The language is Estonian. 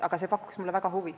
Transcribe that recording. Aga see pakub mullegi väga huvi.